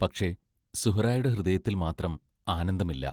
പക്ഷേ, സുഹ്റായുടെ ഹൃദയത്തിൽ മാത്രം ആനന്ദമില്ല.